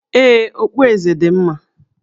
Ee, okpueze dị Eze mma